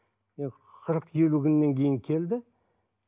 қырық елу күннен кейін келді